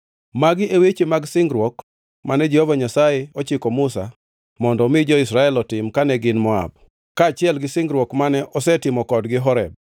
Magi e weche mag singruok mane Jehova Nyasaye ochiko Musa mondo omi jo-Israel otim kane gin Moab, kaachiel gi singruok mane osetimo kodgi Horeb.